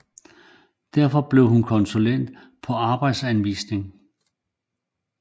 Derefter blev hun konsulent på Arbejdsanvisningen